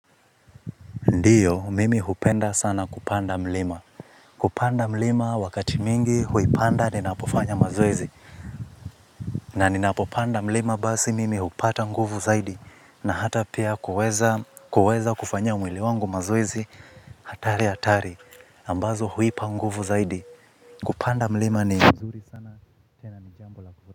Ndio, mimi hupenda sana kupanda mlima. Kupanda mlima wakati mwingi huipanda ninapofanya mazoezi. Na ninapopanda mlima basi mimi hupata nguvu zaidi. Na hata pia kuweza kufanya mwili wangu mazoezi hatari hatari. Ambazo huipa nguvu zaidi. Kupanda mlima ni mzuri sana.